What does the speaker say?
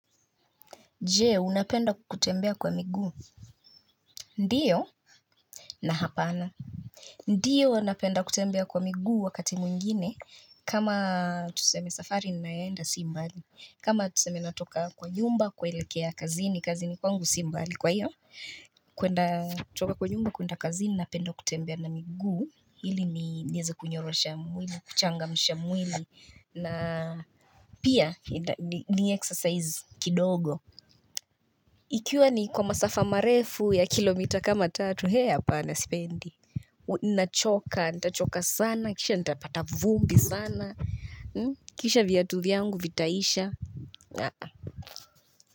Je, unapenda kutembea kwa miguu?, ndio na hapana Ndio napenda kutembea kwa miguu wakati mwingine kama tuseme safari ninaenda sibmbali kama tuseme natoka kwa nyumba kuelekea kazini, kazini kwangu si mbali kwa iyo kwenda kutoka kwa nyumba kwenda kazini napenda kutembea na miguu ili nieze kunyorosha mguu, kuchangamsha mwili na pia ni exercise kidogo Ikiwa ni kwa masafa marefu ya kilomita kama tatu, he hapana sipendi. Nachoka, nitachoka sana, kisha nitapata vumbi sana, kisha viatu vyangu vitaisha. A-a.